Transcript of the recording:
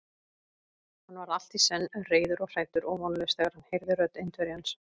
Hann varð allt í senn reiður og hræddur og vonlaus, þegar hann heyrði rödd Indverjans.